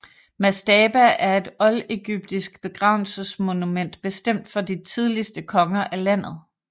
Mastaba er et oldegyptisk begravelsesmonument bestemt for de tidligste konger af landet